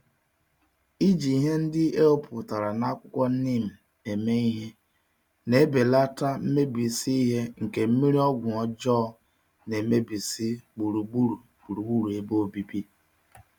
Iji ihe ndị ewepụtara n'akwụkwọ neem eme ihe, n'ebelata mmebisi ihe nke mmírí ọgwụ ọjọọ nemebisi gburugburu gburugburu ebe obibi.